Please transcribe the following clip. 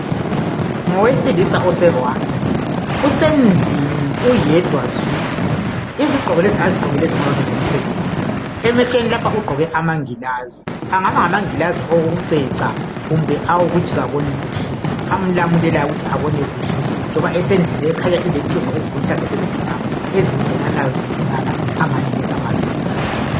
Ngowesilisa oseRwanda usendlini uyedwa zwi. Izigqoko lezi azigokileyo zingaba ngezomsebenzi. Emehlweni lapha ugqoke amagilazi, angaba ngamangilazi awokuceca, kumbe awokuthi kaboni kuhle, amlamulelayo ukuthi abone kuhle . Njengona esendlini le ekhanya ilecingo eziluhlaza lezimnyama ezingenanayo ezingenana engani ngezama getsi